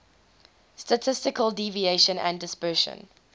statistical deviation and dispersion